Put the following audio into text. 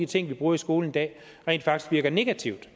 ting vi bruger i skolen i dag rent faktisk virker negativt